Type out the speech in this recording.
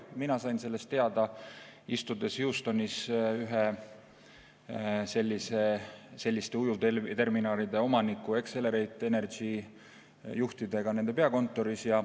Mina sain sellest teada, istudes Houstonis ühe selliste ujuvterminalide omaniku Accelerate Energy juhtidega nende peakontoris.